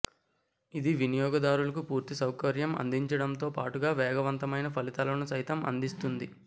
ఇది వినియోగదారులకు పూర్తి సౌకర్యం అందించడంతో పాటుగా వేగవంతమైన ఫలితాలను సైతం అందిస్తుంది